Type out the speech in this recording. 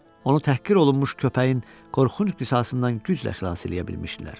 Onu təhqir olunmuş köpəyin qorxunc qisasından güclə xilas eləyə bilmişdilər.